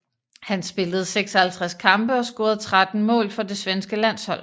Han spillede 56 kampe og scorede 13 mål for det svenske landshold